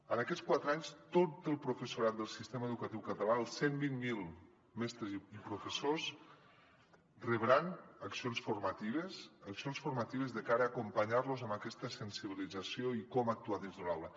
en aquests quatre anys tot el professorat del sistema educatiu català els cent i vint miler mestres i professors rebran accions formatives accions formatives de cara a acompanyar los en aquesta sensibilització i com actuar dins de l’aula